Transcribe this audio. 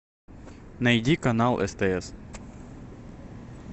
найди канал стс